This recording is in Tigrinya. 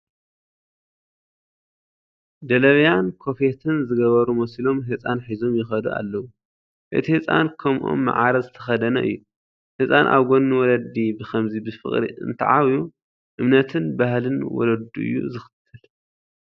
ደለብያን ኮፌትን ዝገበሩ ሞስሊም ህፃን ሒዞም ይኸዱ ኣለዉ፡፡ እቲ ህፃን ከምኦም ማዕረ ዝተኸደነ እዩ፡፡ ህፃን ኣብ ጐኒ ወለዲ ብኸምዚ ብፍቕሪ እንተዓብዩ እምነትን ባህልን ወለዱ እዩ ዝኽተል፡፡